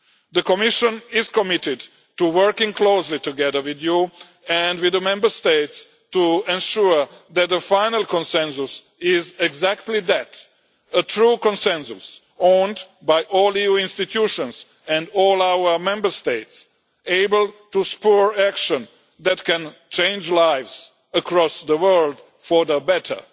The Commission is committed to working closely together with Parliament and with the Member States to ensure that the final consensus is exactly that a true consensus owned by all EU institutions and all our Member States, able to spur action that can change lives across the world for the better.